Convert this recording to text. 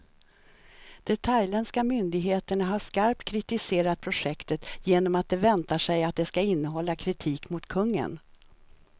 De thailändska myndigheterna har skarpt kritiserat projektet, genom att de väntar sig att det ska innehålla kritik mot kungen.